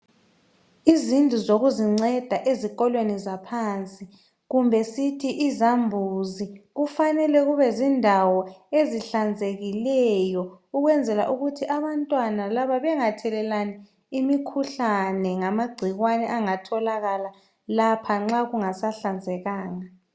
Izindlu zokuzinceda ezikolweni zaphansi kumbe sithi izambuzi kufanele kube zindawo ezihlanzekileyo ukwenzela ukuthi abantwana laba bengathelelani imikhuhlane ngamagcikwane angatholakala lapha nxa kungasahlanzekanga.